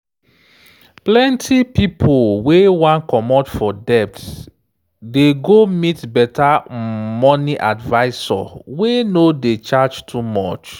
plenty pipo wey wan comot for debt dey go meet better um money adviser wey no dey charge too much.